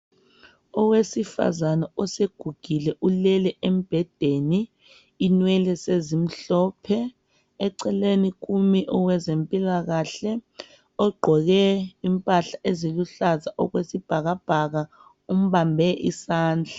Owesifazane osegugile ulele embhedeni inwele sezimhlophe eceleni kumi owezempilakahle ogqoke impahla eziluhlaza okwesibhaka bhaka umbambe isandla.